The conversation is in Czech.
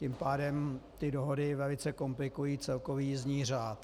Tím pádem ty dohody velice komplikují celkový jízdní řád.